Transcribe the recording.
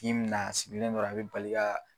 K'i m na a sigilen dɔrɔn a bɛ bali ka